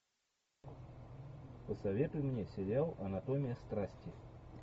посоветуй мне сериал анатомия страсти